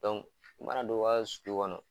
mana don u kaa sulu kɔnɔ